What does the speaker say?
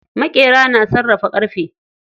Maƙera na sarrafa ƙarfe.